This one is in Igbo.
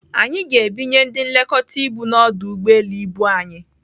Anyị ga-ebinye ndị nlekọta ibu n'ọdụ ụgbọelu ibu anyị.